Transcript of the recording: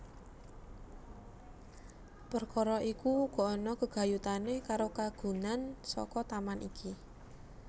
Perkara iku uga ana gegayutané karo kagunan saka taman iki